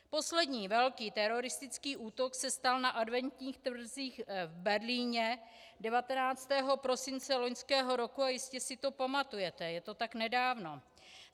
Poslední velký teroristický útok se stal na adventních trzích v Berlíně 19. prosince loňského roku a jistě si to pamatujete, je to tak nedávno.